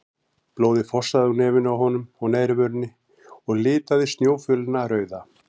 Blóðið fossaði úr nefinu á honum og neðri vörinni og litaði snjófölina rauða.